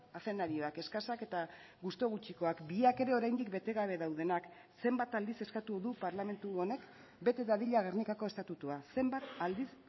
azenarioak eskasak eta gustu gutxikoak biak ere oraindik bete gabe daudenak zenbat aldiz eskatu du parlamentu honek bete dadila gernikako estatutua zenbat aldiz